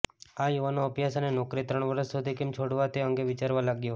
આ યુવાનો અભ્યાસ અને નોકરી ત્રણ વર્ષ સુધી કેમ છોડવા તે અંગે વિચારવા લાગ્યા